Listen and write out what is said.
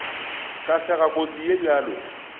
ka sega kotsi ye bjalo